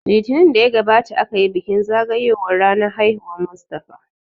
Litinin da ya gabata aka yi bikin zagayoyan ranan haihuwar Mustapha